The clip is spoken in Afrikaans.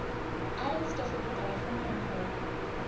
ernstige bedreiging inhou